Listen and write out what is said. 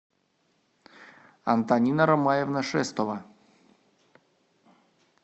антонина ромаевна шестова